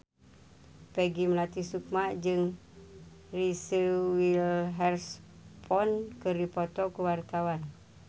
Peggy Melati Sukma jeung Reese Witherspoon keur dipoto ku wartawan